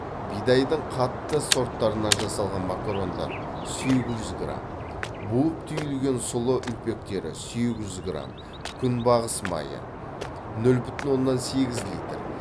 бидайдың қатты сорттарынан жасалған макарондар сегіз жүз грамм буып түйілген сұлы үлпектері сегіз жүз грамм күнбағыс майы ноль бүтін оннан сегіз литр